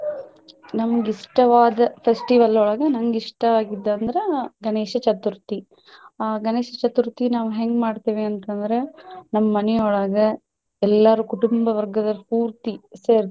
ನಮ್ಗೆ ಇಷ್ಟವಾದ festival ಒಳಗ ನಂಗ ಇಷ್ಟವಾಗಿದ್ದ ಅಂದ್ರ ಗಣೇಶ ಚತುರ್ಥಿ. ಆಹ್ ಗಣೇಶ ಚತುರ್ಥಿ ನಾವ್ ಹೆಂಗ ಮಾಡ್ತೇವಿ ಅಂತ ಅಂದ್ರ ನಮ್ಮ ಮನಿಯೊಳಗ ಎಲ್ಲಾರು ಕುಟುಂಬ ವರ್ಗದವರು ಪೂರ್ತಿ ಸೆರ್ತಿವಿ.